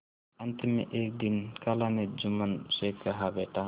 अंत में एक दिन खाला ने जुम्मन से कहाबेटा